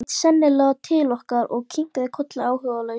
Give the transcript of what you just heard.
Siggi leit seinlega til okkar og kinkaði kolli áhugalaust.